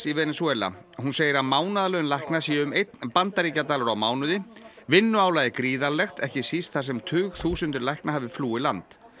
í Venesúela hún segir að mánaðarlaun lækna séu um einn bandaríkjadalur á mánuði vinnuálagið gríðarlegt ekki síst þar sem tugþúsundir lækna hafi flúið land